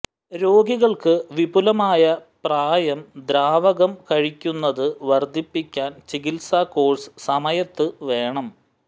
രോഗികൾക്ക് വിപുലമായ പ്രായം ദ്രാവകം കഴിക്കുന്നത് വർദ്ധിപ്പിക്കാൻ ചികിത്സ കോഴ്സ് സമയത്ത് വേണം